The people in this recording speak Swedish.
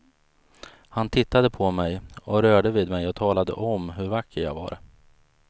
Han tittade på mig och rörde vid mig och talade om hur vacker jag var.